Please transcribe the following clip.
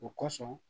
O kosɔn